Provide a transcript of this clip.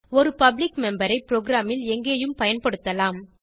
ஒரு public member ஐ ப்ரோகிராமில் எங்கேயும் பயன்படுத்தலாம்